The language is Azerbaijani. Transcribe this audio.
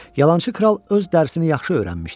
Yalançı kral öz dərsini yaxşı öyrənmişdi.